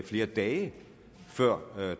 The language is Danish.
flere dage før